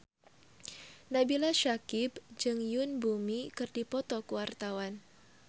Nabila Syakieb jeung Yoon Bomi keur dipoto ku wartawan